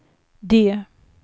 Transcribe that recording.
D